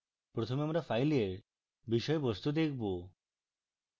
প্রথমে আমরা file বিষয়বস্তু দেখব